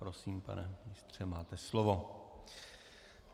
Prosím, pane ministře, máte slovo.